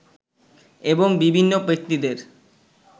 এবং বিভিন্ন ব্যক্তিদের